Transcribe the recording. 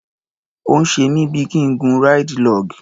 Ó ń ṣe mí bí i kí n gun ráìdì log.